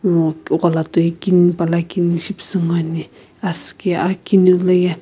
ngo ghola toi kini pala kini shipüsü ngoani asüki akiniu loye.